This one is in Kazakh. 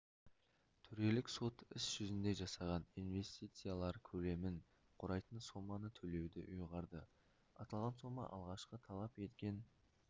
төрелік сот іс жүзінде жасаған инвестициялар көлемін құрайтын соманы төлеуді ұйғарды аталған сома алғашқы талап еткен